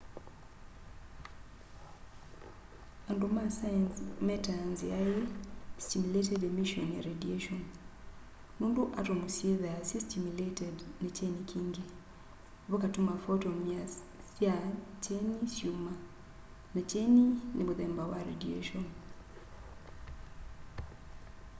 andu ma saenzi metaa nzia ii stimulated emission ya radiation” nundu atomu syithwaa syi stimulated ni kyeni kingí vakatuma photon sya kyeni syuma na kyeni ni muthemba wa radiation